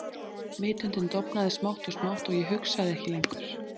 Vitundin dofnaði smátt og smátt og ég hugsaði ekki lengur.